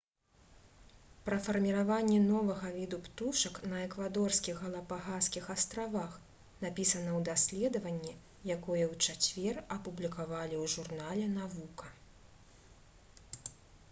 пра фарміраванне новага віду птушак на эквадорскіх галапагаскіх астравах напісана ў даследаванні якое ў чацвер апублікавалі ў журнале «навука»